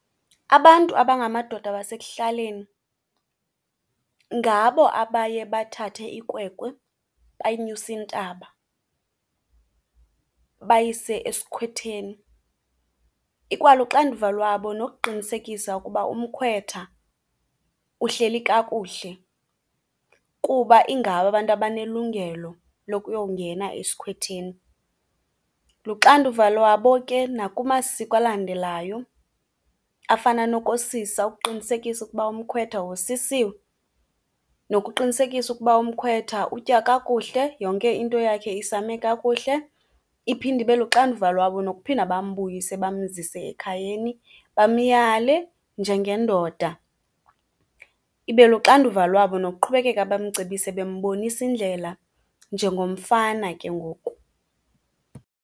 Abantu abangamadoda basekuhlaleni ngabo abaye bathathe ikwekwe bayinyuse intaba bayise esikhwetheni. Ikwaluxanduva lwabo nokuqinisekisa ukuba umkhwetha uhleli kakuhle kuba ingabo abantu abanelungelo lokuyowungena esikhwetheni. Luxanduva lwabo ke nakumasiko alandelayo afana nokosisa ukuqinisekisa ukuba umkhwetha wosisiwe, nokuqinisekisa ukuba umkhwetha utya kakuhle, yonke into yakhe isame kakuhle. Iphinde ibe luxanduva lwabo nokuphinda bambuyise bamzise ekhayeni bamyale njengendoda, ibe luxanduva lwabo nokuqhubekeka bamcebise bembonisa indlela njengomfana ke ngoku.